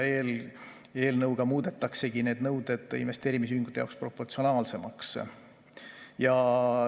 Eelnõuga muudetaksegi need nõuded investeerimisühingute jaoks proportsionaalsemaks.